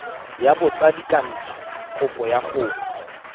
ya botsadikatsho kopo ya go